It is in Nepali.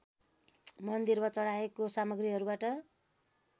मन्दिरमा चढाएको सामग्रीहरूबाट